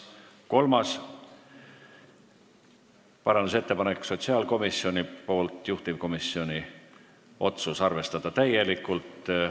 Kolmas parandusettepanek on sotsiaalkomisjonilt, juhtivkomisjoni otsus: arvestada täielikult.